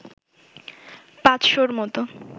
পাঁচশ’র মতো